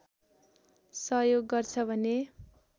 सहयोग गर्छ भने